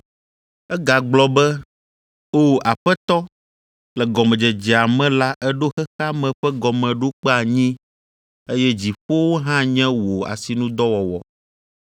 Egagblɔ be, “O Aƒetɔ, le gɔmedzedzea me la eɖo xexea me ƒe gɔmeɖokpe anyi, eye dziƒowo hã nye wò asinudɔwɔwɔ.